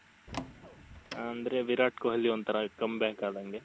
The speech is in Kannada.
ಅಂದ್ರೆ ವಿರಾಟ್ ಕೊಹ್ಲಿ ಒಂಥರಾ come back ಆದಂಗೆ